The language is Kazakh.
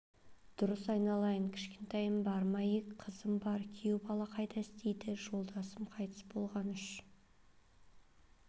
дұрыс айналайын кішкентайларың бар ма ек қызым бар күйеу бала қайда істейді жолдасым қайтыс болған үш